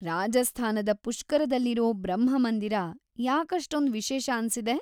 ರಾಜಸ್ಥಾನದ ಪುಷ್ಕರದಲ್ಲಿರೋ ಬ್ರಹ್ಮ ಮಂದಿರ ಯಾಕಷ್ಟೊಂದ್‌ ವಿಶೇಷ ಅನ್ಸಿದೆ?